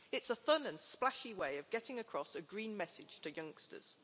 It's a fun and splashy way of getting across a green message to youngsters.